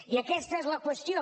i aquesta és la qüestió